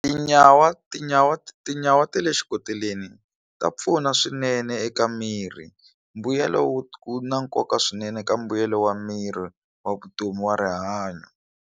Tinyawa tinyawa tinyawa ta le xikoteleni ta pfuna swinene eka mirhi mbuyelo wu na nkoka swinene ka mbuyelo wa miri wa vutomi wa rihanyo.